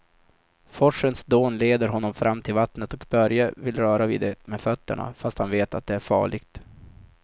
Forsens dån leder honom fram till vattnet och Börje vill röra vid det med fötterna, fast han vet att det är farligt.